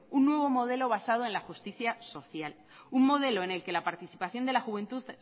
un nuevo modelo basado en la justicia social un modelo en el que la participación de la juventud